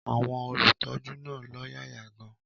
Àwọn olùtọ́jú náà lọ́yàyà gan-an.